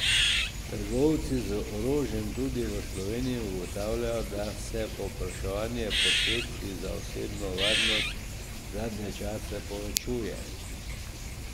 Trgovci z orožjem, tudi v Sloveniji, ugotavljajo, da se povpraševanje po sredstvih za osebno varnost zadnje čase povečuje.